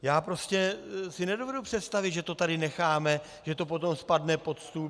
Já prostě si nedovedu představit, že to tady necháme, že to potom spadne pod stůl.